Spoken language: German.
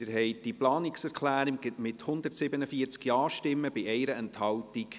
Sie haben diese Planungserklärung angenommen, mit 147 Ja-Stimmen bei 1 Enthaltung.